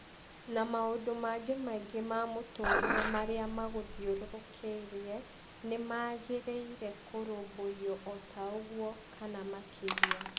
Na maũndũ mangĩ maingĩ ma mũtũũrĩre marĩa magũthiũrũrũkĩirie nĩ magĩrĩire kũrũmbũiyo o ta ũguo, kana makĩria.